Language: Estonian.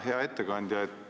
Hea ettekandja!